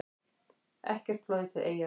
Ekkert flogið til Eyja